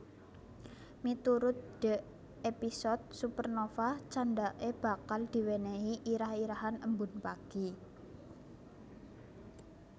Miturut Dee episode Supernova candhake bakal diwenehi irah irahan Embun Pagi